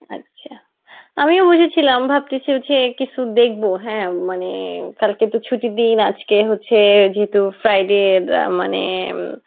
আচ্ছা, আমিও বসেছিলাম ভাবতেসি হচ্ছে কিছু দেখবো হ্যাঁ মানে কালকে তো ছুটির দিন আজকে হচ্ছে যেহেতু Friday মানে ইম